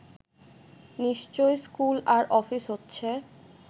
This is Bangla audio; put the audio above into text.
নিশ্চয়ই স্কুল আর অফিস হচ্ছে